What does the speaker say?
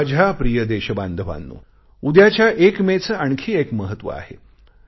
माझ्या प्रिय देशबांधवांनो उद्याच्या 1 मे चे आणखी एक महत्व आहे